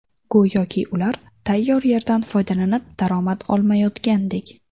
Go‘yoki ular tayyor yerdan foydalanib, daromad olmayotgandek.